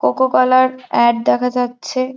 Coca Cola -র ad দেখা হচ্ছে।